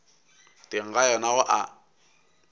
teng ga yona go a